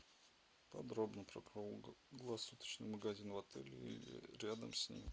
подробно про круглосуточный магазин в отеле или рядом с ним